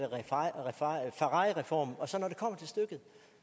ferrarireform